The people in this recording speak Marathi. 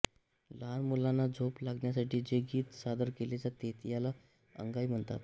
लहान मुलांना झोप लागण्यासाठी जे गीत सादर केले जाते त्याला अंगाई म्हणतात